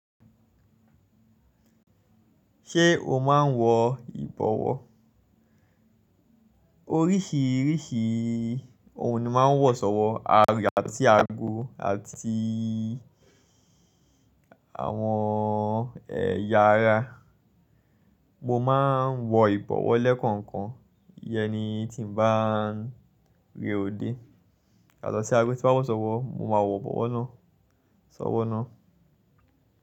Ṣé o máa ń wọ ìbọwọ́? Oríṣiríṣi ohun ni wọ́n máa ń wọ̀ sọ́wọ́, ara àti ago àti àwọn ẹ̀yà ara. Mo máa ń wọ ìbọwọ́ lẹ́kọ̀ọ̀kan iyẹni tí mo bá ń re odé. Yàtọ̀ sí ago tí mo ma ń wọ̀ sọ́wọ́, mo máa wọ ìbọwọ́ náà sọ́wọ́ náà.